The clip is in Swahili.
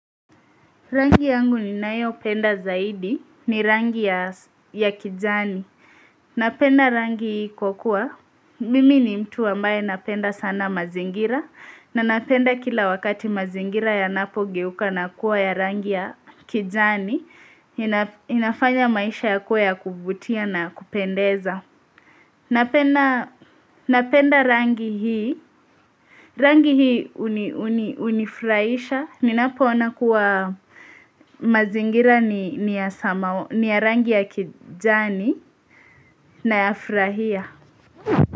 Rangi yangu ninayopenda zaidi, ni rangi ya kijani. Napenda rangi kwa kuwa, mimi ni mtu ambaye napenda sana mazingira, na napenda kila wakati mazingira yanapogeuka na kuwa ya rangi ya kijani, inafanya maisha yakuwe ya kuvutia na kupendeza. Napenda rangi hii, rangi hii unifraisha, Ninapoona kuwa mazingira ni ya rangi ya kijani nayafrahia.